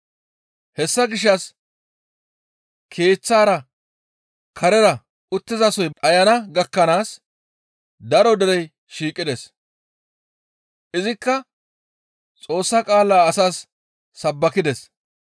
Hessa gishshas keeththara, karera uttizasoy dhayana gakkanaas daro derey shiiqides. Izikka Xoossa qaala asaas sabbakides.